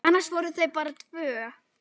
Annars voru þau bara tvö.